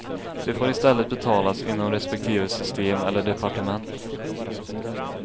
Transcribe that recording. De får i stället betalas inom respektive system eller departement.